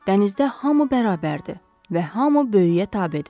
Dənizdə hamı bərabərdir və hamı böyüyə tabedir.